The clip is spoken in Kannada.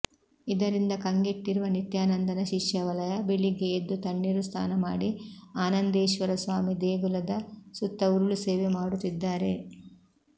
ಇದರಿಂದ ಕಂಗೆಟ್ಟಿರುವ ನಿತ್ಯಾನಂದನ ಶಿಷ್ಯವಲಯ ಬೆಳಿಗ್ಗೆ ಎದ್ದು ತಣ್ಣೀರು ಸ್ನಾನ ಮಾಡಿ ಆನಂದೇಶ್ವರಸ್ವಾಮಿ ದೇಗುಲದ ಸುತ್ತ ಉರುಳುಸೇವೆ ಮಾಡುತ್ತಿದ್ದಾರೆ